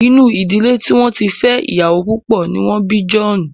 Inú ìdílé tí wọ́n ti fẹ́ iyawo púpọ̀ ni wọ́n bí John.